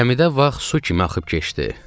Gəmidə vaxt su kimi axıb keçdi.